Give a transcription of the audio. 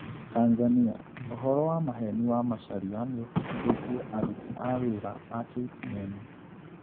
Tanzania: ũhoro wa maheni wa Macharia nĩũbutithĩtie aruti a wĩra a KTN